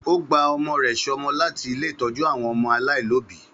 Ó gba ọmọ rẹ̀ ṣọmọ láti ilé ìtọ́jú àwọn ọmọ alaialobi.